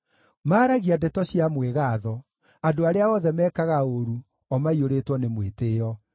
Maaragia ndeto cia mwĩgaatho; andũ arĩa othe meekaga ũũru, o maiyũrĩtwo nĩ mwĩtĩĩo.